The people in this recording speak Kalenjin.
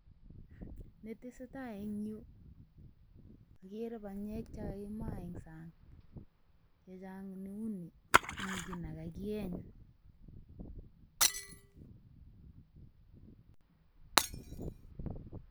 Ne tesetai en yu ogere banyek che kakimaa en sang. Che chang neu mi kiy ne kakiyeny.